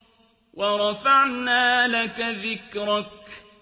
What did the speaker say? وَرَفَعْنَا لَكَ ذِكْرَكَ